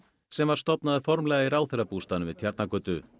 sem var stofnaður formlega í ráðherrabústaðnum við Tjarnargötu